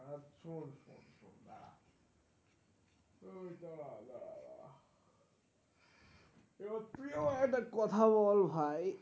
এবার তুই আমার একটা কথা বল ভাই?